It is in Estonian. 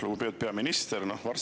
Lugupeetud peaminister!